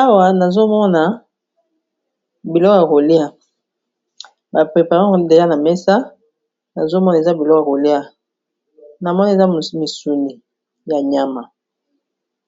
Awa nazomona biloko ya kolia ba prepare yango deja na mesa nazomona eza biloko ya kolia na moni eza misuni ya nyama